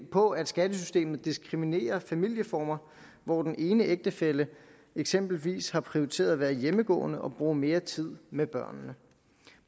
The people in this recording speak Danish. på at skattesystemet diskriminerer familieformer hvor den ene ægtefælle eksempelvis har prioriteret at være hjemmegående og bruge mere tid med børnene